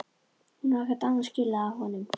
Hún á ekkert annað skilið af honum.